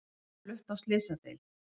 Hún var flutt á slysadeild